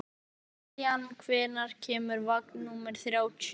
Lillian, hvenær kemur vagn númer þrjátíu?